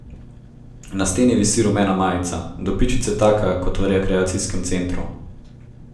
Na steni visi rumena majica, do pičice taka kot v rekreacijskem centru.